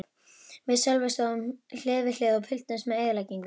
Við Sölvi stóðum hlið við hlið og fylgdumst með eyðileggingunni.